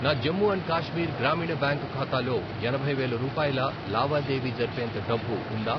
నా జమ్ము అండ్ కాశ్మీర్ గ్రామీణ బ్యాంక్ ఖాతాలో ఎనభై వేలు రూపాయల లావాదేవీ జరిపేంత డబ్బు ఉందా?